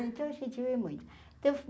Então a gente vê muito. então